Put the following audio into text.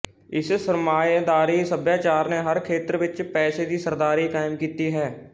ਇਸ ਸਰਮਾਏਦਾਰੀ ਸਭਿਆਚਾਰ ਨੇ ਹਰ ਖੇਤਰ ਵਿੱਚ ਪੈਸੇ ਦੀ ਸਰਦਾਰੀ ਕਾਇਮ ਕੀਤੀ ਹੈ